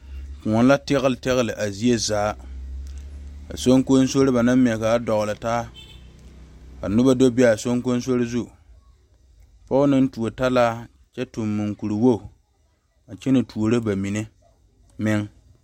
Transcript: Kõɔ la tɛlɛ tɛlɛ a zie zaa soŋkosoro ba naŋ ŋmɛ dogle taa ka noba do ba a soŋkoso pɔge naŋ tuo talaa kyɛ tuŋ moɔkuri wogi a kyɛne tuuro bamine